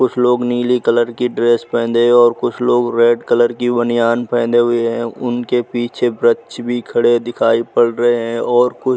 कुछ लोग नीले कलर की ड्रेस पहने हैं और कुछ लोग रेड कलर की बनियान पहने हुए हैं। उनके पीछे वृक्ष भी खड़े दिखाई पड़ रहे हैं और कुछ --